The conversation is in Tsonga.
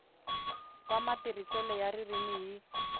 wa matirhiselo ya ririmi hi